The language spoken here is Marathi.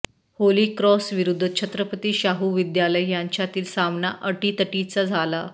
होलीक्रॉस विरूद्ध छत्रपती शाहू विद्यालय यांच्यातील सामना अटीतटीचा झाला